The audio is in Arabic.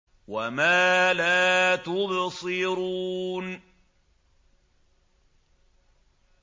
وَمَا لَا تُبْصِرُونَ